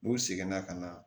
N'u seginna ka na